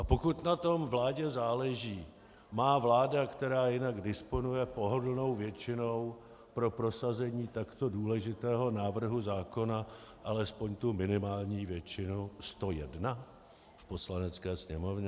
A pokud na tom vládě záleží, má vláda, která jinak disponuje pohodlnou většinou pro prosazení takto důležitého návrhu zákona, alespoň tu minimální většinu 101 v Poslanecké sněmovně?